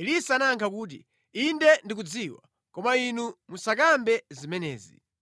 Elisa anayankha kuti, “Inde ndikudziwa, koma inu musakambe zimenezi.”